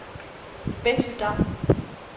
Betty Damm